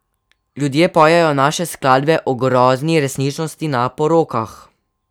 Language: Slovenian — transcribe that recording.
Ljudje pojejo naše skladbe o grozni resničnosti na porokah.